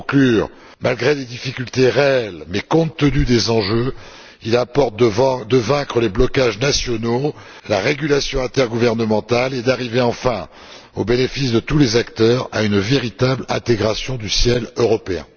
Pour conclure, malgré des difficultés réelles mais compte tenu des enjeux, il importe de vaincre les blocages nationaux, la régulation intergouvernementale et d'arriver, enfin, au bénéfice de tous les acteurs, à une véritable intégration du ciel européen.